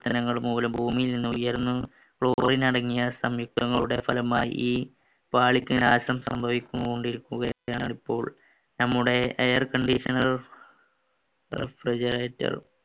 മൂല ഭൂമിയിൽ നിന്ന് ഉയർന്ന് chlorine അടങ്ങിയ സംയുക്തങ്ങളുടെ ഫലമായി ഈ പാളിക്ക് നാശം സംഭവിച്ചു കൊണ്ടിരിക്കുകയാണ് ഇപ്പോൾ നമ്മുടെ air conditioner refrigerator